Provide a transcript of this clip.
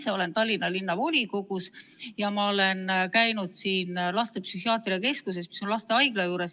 Ma olen Tallinna Linnavolikogu liige ja käinud laste psühhiaatriakeskuses, mis töötab lastehaigla juures.